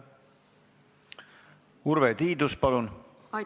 Urve Tiidus, palun!